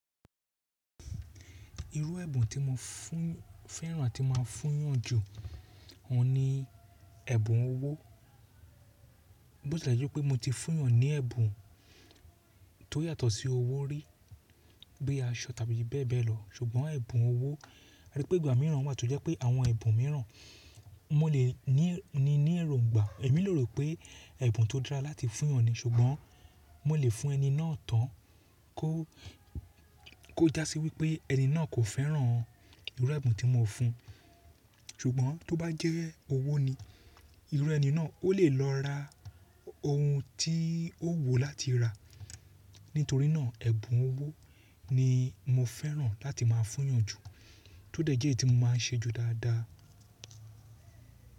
Irú ẹ̀bùn tí mo fẹ́ràn àti máa fún'yàn ju òun ni ẹ̀bùn owó. Bó tí lè jẹ́ pé mo ti fún'yàn ní ẹ̀bùn tó yàtọ̀ sí owó rí, bí aṣọ tàbí bẹ́ẹ̀ bẹ́ẹ̀ lọ, ṣùgbọ́n ẹ̀bùn owó torí pé ìgbà mìíràn wà tó jẹ́ pé àwọn ẹ̀bùn mìíràn mo lè ní ni ní èròǹgbà. Èmi lè rò pé ẹ̀bùn tó dára láti fún'yàn ni, ṣùgbọ́n mo lè fún ẹni náà tán kó já sí wípé ẹni náà kò fẹ́ràn irú ẹ̀bùn tí mo fún-un. Ṣùgbọ́n tó bá jẹ́ owó ni, irú ẹni náà ó lè lọ ra ohun tí ó wù ú láti rà. Nítorí náà, ẹ̀bùn owó ni mo fẹ́ràn láti máa fún'yàn jù. Tó dẹ̀ jẹ́ èyí tí mo máa ń ṣe jù dáadáa.